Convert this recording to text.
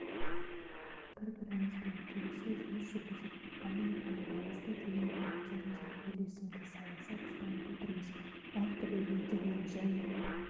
бір-бірімізбен келісе жұмыс жүргізіп экономиканың маңызды деген бөліктерінде үйлесімді саясат ұстанып отырмыз әртүрлі елдермен және